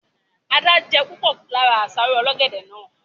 Adé je púpọ̀ lára àsáró ọlọ́gẹ̀dẹ̀ náà